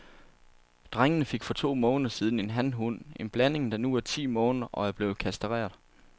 Drengene fik for to måneder siden en hanhund, en blanding, der nu er ti måneder og er blevet kastreret.